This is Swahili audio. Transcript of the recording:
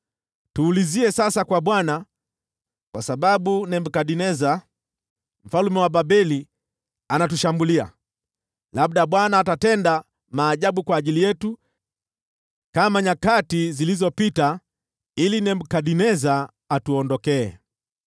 “Tuulizie sasa kwa Bwana , kwa sababu Nebukadneza mfalme wa Babeli anatushambulia. Labda Bwana atatenda maajabu kwa ajili yetu kama nyakati zilizopita, ili Nebukadneza atuondokee.”